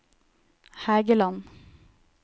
Hægeland